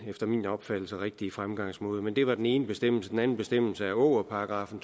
efter min opfattelse rigtige fremgangsmåde det var den ene bestemmelse den anden bestemmelse er ågerparagraffen